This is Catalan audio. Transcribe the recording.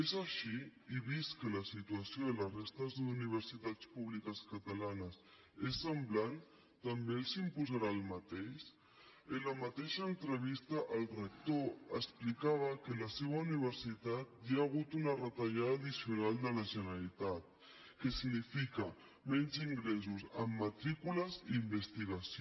és així i vist que la situació de la resta d’universitats públiques catalanes és semblant també els imposarà el mateix en la mateixa entrevista el rector explicava que en la seva universitat hi ha hagut una retallada addicional de la generalitat que significa menys ingressos en matrícules i investigació